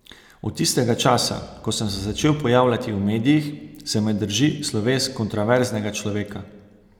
Od tistega časa, ko sem se začel pojavljati v medijih, se me drži sloves kontroverznega človeka.